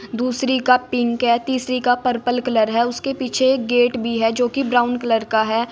दूसरी का पिंक है तीसरी का पर्पल कलर है उसके पीछे गेट भी है जो कि ब्राउन कलर का है।